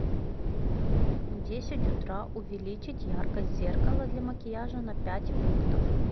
в десять утра увеличить яркость зеркала для макияжа на пять пунктов